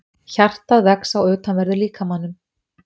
Hjartað vex á utanverðum líkamanum